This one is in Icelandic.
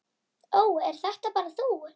Ó, ert þetta bara þú?